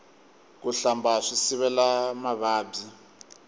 ku hlamba swi sivela mavabyi